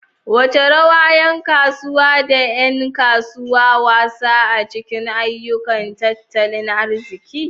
Wace rawa yan kasuwa da 'yan kasuwa wasa a cikin ayyukan tattalin arziki?